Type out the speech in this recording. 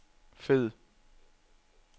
fed